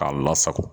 K'a lasago